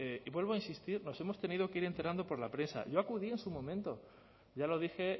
vuelvo a insistir nos hemos tenido que ir enterando por la prensa yo acudí su momento ya lo dije